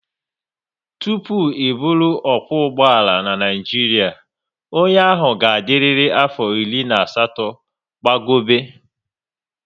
Tụpụ ị bụrụ okwo ụgbọala n'Naijiria, onye ahụ ga adịrịri afo iri na asatọ gbago be